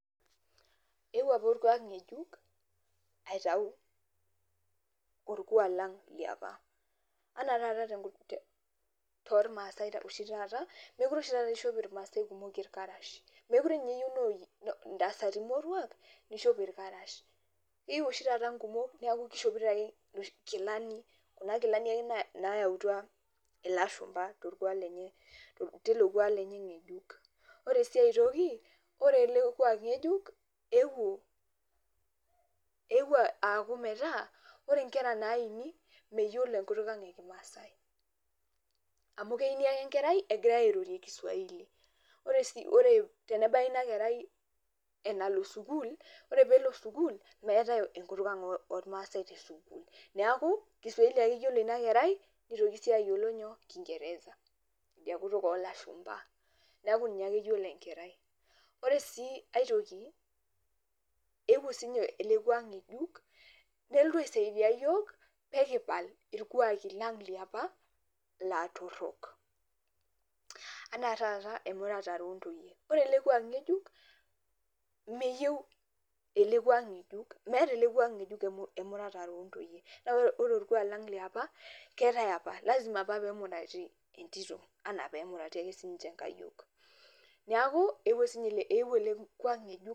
Eewuao aapa orkuak ng'ejuk aitau orkuak lang liopa. Enaa taata tormaase oshi taata mekure oshi taata eishop irmaasae kumok irkarash, mekure ninye eyieu intasati moruak neishop irkarash. Keyieu oshi taata inkumok niaku keishopito aake inkilani kuna kilani aake nayautua ilashumba teilo kuak lenye ng'ejuk. Ore sii enkae toki oore eele kuak ng'ejuk eewuo aaku metaa oore inkera naini meyiolo enkutuk ang' e kiswahili. Amuu keini aake enkerai egirae airorie kiswahili. Oore tenebaya eena kerai enalo sukuul, meetae enkutuk ang' ormaasae te sukuul. Niaku kiswahili aake eyiolo iina kerai neitoki sii ayiolo kingereza iidia kutuk olashumba, niaku ninye aake eyiolo iina kerai. Oore sii aae toki eewuo ele kuak ng'ejuk nelotu aisaidia iyiok peyie kipal irkuaki lang liopa laa torok. Enaa taata emuratare ontoyie. Meyieu, meeta eele kuak ng'ejuk emuratare oontoyie naa oore orkuak lang liopa lazima apa peyie emurati entito enaa peyie emurati ake sininche inkayioni. Niaku eewuao ele kuak ng'ejuk.